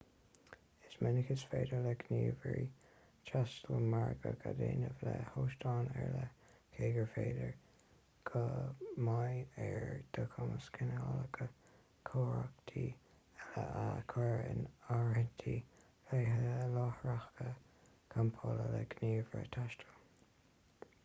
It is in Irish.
is minic is féidir le gníomhairí taistil margadh a dhéanamh le hóstáin ar leith cé gur féidir go mbeidh ar do chumas cineálacha cóiríochta eile a chur in áirithe leithéidí láithreacha campála le gníomhaire taistil